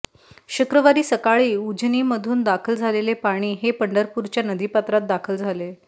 शुक्रवारी सकाळी उजनीमधून दाखल झालेले पाणी हे पंढरपूरच्या नदीपात्रात दाखल झाले